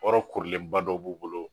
Yɔrɔ korilenba dɔ b'u bolo